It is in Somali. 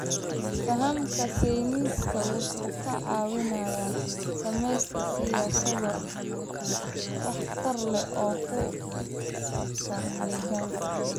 Fahamka sayniska wuxuu ka caawinayaa sameynta siyaasado waxtar leh oo ku saabsan deegaanka.